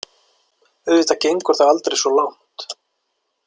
Auðvitað gengur það aldrei svo langt.